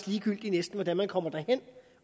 ligegyldigt hvordan man kommer derhen